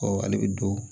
ale bɛ don